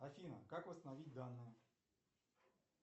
афина как восстановить данные